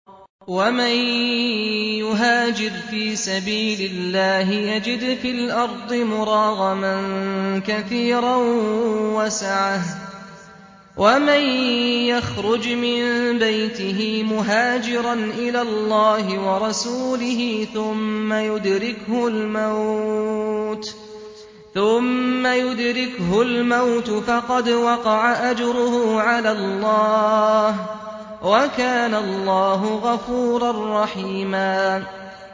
۞ وَمَن يُهَاجِرْ فِي سَبِيلِ اللَّهِ يَجِدْ فِي الْأَرْضِ مُرَاغَمًا كَثِيرًا وَسَعَةً ۚ وَمَن يَخْرُجْ مِن بَيْتِهِ مُهَاجِرًا إِلَى اللَّهِ وَرَسُولِهِ ثُمَّ يُدْرِكْهُ الْمَوْتُ فَقَدْ وَقَعَ أَجْرُهُ عَلَى اللَّهِ ۗ وَكَانَ اللَّهُ غَفُورًا رَّحِيمًا